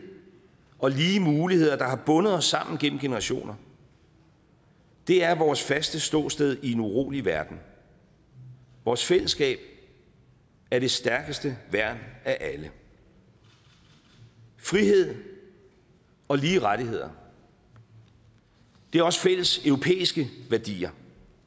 og lige muligheder der har bundet os sammen gennem generationer er vores faste ståsted i en urolig verden vores fællesskab er det stærkeste værn af alle frihed og lige rettigheder er også fælles europæiske værdier